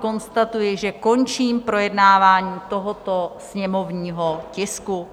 Konstatuji, že končím projednávání tohoto sněmovního tisku.